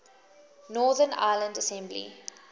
northern ireland assembly